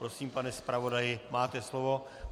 Prosím, pane zpravodaji, máte slovo.